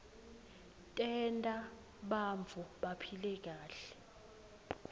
tenta bantfu baphile kahle